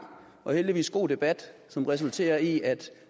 og heldigvis god debat som resulterer i at